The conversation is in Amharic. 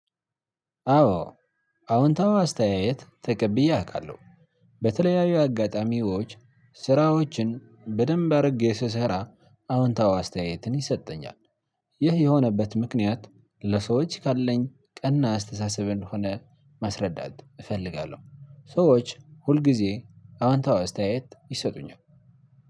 አዎ አዎንታዊ አስተያየት ተቀብዬ አውቃለሁ። በተለያዩ አጋጣሚዎች ስራዎችን በደንብ አድርጌ ስሰራ አዎንታዊ አስተያየትን ይሰጠኛል። ይህ የሆነበት ምክንያት ለሰዎች ካለኝ ቀና አስተሳሰብ እንደሆነ ማስረዳት እፈልጋለሁ። ሰዎች ሁል ጊዜ አዎንታዊ አስተያየት ይሰጡኛል።